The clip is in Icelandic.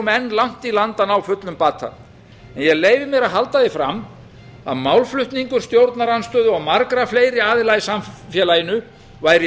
langt í land með að ná fullum bata en ég leyfi mér að halda því fram að málflutningur stjórnarandstöðu og margra fleiri aðila í samfélaginu væri